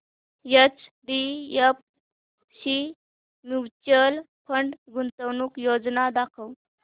HDFC mutual fund गुंतवणूक योजना दाखव